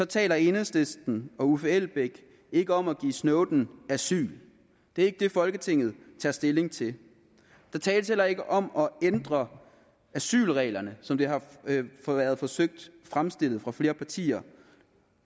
taler enhedslisten og herre uffe elbæk ikke om at give snowden asyl det er ikke det folketinget tager stilling til der tales heller ikke om at ændre asylreglerne som det har været forsøgt fremstillet af flere partier